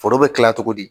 Foro bɛ dilan cogo di